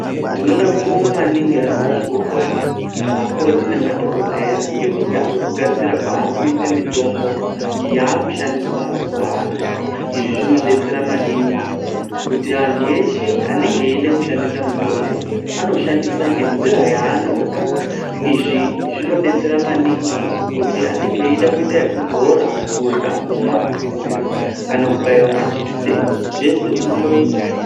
Tinoda kubonga maningi ,ana mazvikokota. Akoti nema dhogodheya ngekuda kwekugadziya kwaarikuite mitombo yaakushandiswa mazuva ano. Izvi zvino detsera maningi kuti antu eshe enenge echida kushandisa mitombo ano shandisa ngenzira yaanoda. Izvi zvino detsera maningi kuti anenge eyida kuita yekudzora ,kudya ,kumwa ,kukwizira kana kubaiwa majekiseni zvese zvindonoita.